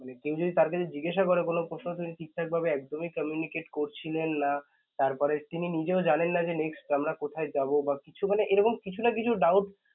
মানে কেই যদি তার কাছে জিজ্ঞাসা করে কোন প্রশ্ন তিনি ঠিকঠাকভাবে একদমই communicate করছিলেন না. তারপরে তিনি নিজেও জানেন না যে next আমরা কোথায় যাবো? মানে এরকম কিছু না কিছু doubt